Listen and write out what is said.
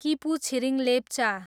Kipu Chhiring Lepcha